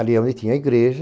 Ali é onde tinha a igreja.